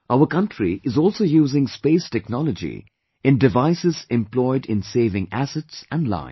Our country is also using Space Technology in devices employed in saving assets and life